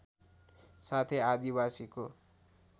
साथै आदिवासीको